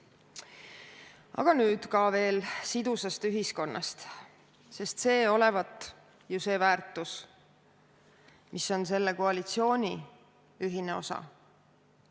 Aga nüüd veel sidusast ühiskonnast, sest see olevat ju väärtus, mis on selle koalitsiooni ühine osa.